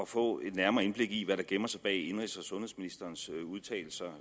få et nærmere indblik i hvad der gemmer sig bag indenrigs og sundhedsministerens udtalelse